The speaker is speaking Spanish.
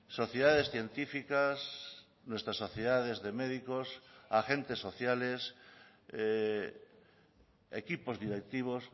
sociedades científicas nuestras sociedades de médicos agentes sociales equipos directivos